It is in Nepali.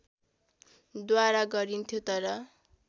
द्वारा गरिन्थ्यो तर